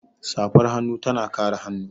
Safar hannu tana kare hannu.